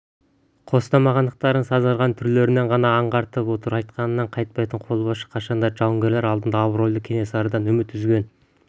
қостамағандықтарын сазарған түрлерінен ғана аңғартып отыр айтқанынан қайтпайтын қолбасшы қашанда жауынгерлері алдында абыройлы кенесарыдан үміт үзген